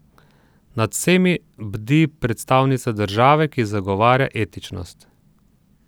Nad vsemi bdi predstavnica države, ki zagovarja etičnost.